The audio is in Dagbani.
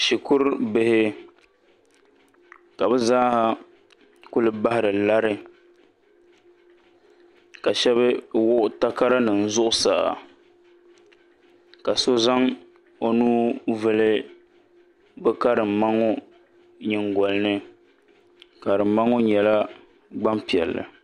shikurubihi ka bɛ z-a--a kuli bahiri lari ka shɛba wuɣi takaranima zuɣusaa ka so zaŋ o nuu vuli bɛ karimma ŋɔ nyiŋgoli ni karimma ŋɔ nyɛla gbampiɛlli